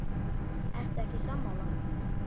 Ertu ekki sammála?